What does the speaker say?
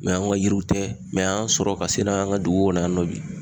Mɛ an ga yiriw tɛ mɛ an y'an sɔrɔ ka se n'a ye an ka dugu kɔnɔna yan nɔ bi